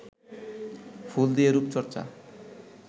ফুল দিয়ে রুপচর্চা